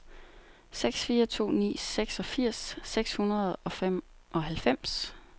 seks fire to ni seksogfirs seks hundrede og femoghalvfems